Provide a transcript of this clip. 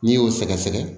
N'i y'o sɛgɛsɛgɛ